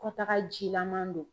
Kɔtaga jilaman don